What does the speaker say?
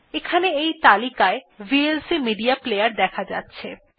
এখানে এই তালিকায় ভিএলসি মেডিয়া প্লেয়ার দেখা যাচ্ছে